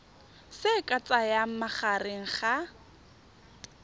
se ka tsayang magareng ga